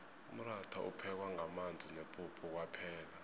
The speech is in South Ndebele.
umratha uphekwa ngamanzi nepuphu kwaphela